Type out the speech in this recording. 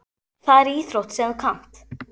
Það er íþrótt sem þú kannt.